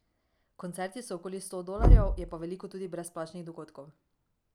Koncerti so okrog sto dolarjev, je pa veliko tudi brezplačnih dogodkov.